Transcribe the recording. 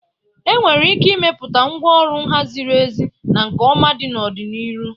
Enwere ike ịmepụta ngwaọrụ nha ziri ezi na nke ọma n'ọdịnihu.